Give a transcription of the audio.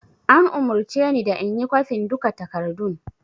An umurce ni da inyi kwafen duka takardun